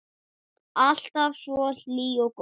Alltaf svo hlý og góð.